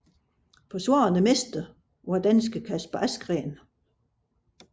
Forsvarende mester var danske Kasper Asgreen